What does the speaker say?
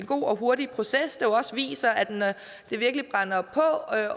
god og hurtig proces også viser at når det virkelig brænder på